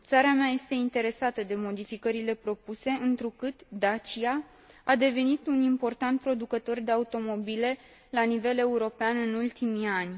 Țara mea este interesată de modificările propuse, întrucât Dacia a devenit un important producător de automobile la nivel european în ultimii ani.